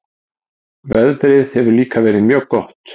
Veðrið hefur líka verið mjög gott